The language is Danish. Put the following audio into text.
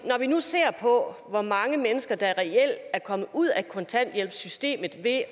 når vi nu ser på hvor mange mennesker der reelt er kommet ud af kontanthjælpssystemet ved at